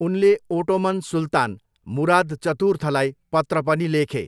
उनले ओटोमन सुल्तान, मुराद चतुर्थलाई पत्र पनि लेखे।